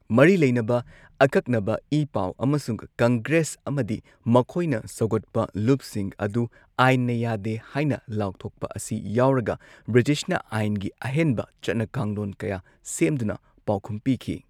ꯃꯔꯤ ꯂꯩꯅꯕ ꯑꯀꯛꯅꯕ ꯏ ꯄꯥꯎ ꯑꯃꯁꯨꯡ ꯀꯪꯒ꯭ꯔꯦꯁ ꯑꯃꯗꯤ ꯃꯈꯣꯏꯅ ꯁꯧꯒꯠꯄ ꯂꯨꯞꯁꯤꯡ ꯑꯗꯨ ꯑꯥꯏꯟꯅ ꯌꯥꯗꯦ ꯍꯥꯏꯅ ꯂꯥꯎꯊꯣꯛꯄ ꯑꯁꯤ ꯌꯥꯎꯔꯒ ꯕ꯭ꯔꯤꯇꯤꯁꯅ ꯑꯥꯏꯟꯒꯤ ꯑꯍꯦꯟꯕ ꯆꯠꯅ ꯀꯥꯡꯂꯣꯟ ꯀꯌꯥ ꯁꯦꯝꯗꯨꯅ ꯄꯥꯎꯈꯨꯝ ꯄꯤꯈꯤ꯫